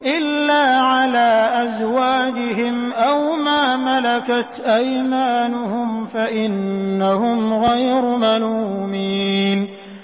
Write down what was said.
إِلَّا عَلَىٰ أَزْوَاجِهِمْ أَوْ مَا مَلَكَتْ أَيْمَانُهُمْ فَإِنَّهُمْ غَيْرُ مَلُومِينَ